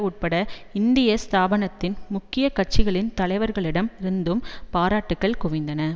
உட்பட இந்திய ஸ்தாபனத்தின் முக்கிய கட்சிகளின் தலைவர்களிடம் இருந்தும் பாராட்டுக்கள் குவிந்தன